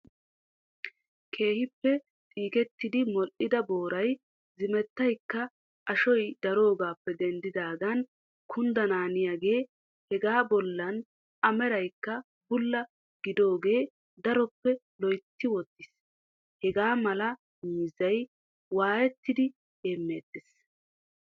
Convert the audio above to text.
Keehippe xiikettiidi modhdhida booraay ziimettaykka ashoy daroogaappe denddaagan kundanaaniyaagee hegaa bollaan a meraykka bulla gidaagee daroppe loytti wottiis. Hagaa malaa miizzay waayettidi hemeettees.